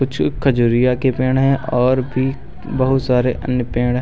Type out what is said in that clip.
कुछ खजुरिया के पेड़ हैं और भी बहुत सारे अन्य पेड़ हैं।